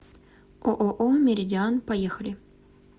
ооо меридиан поехали